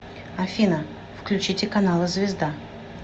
афина включите каналы звезда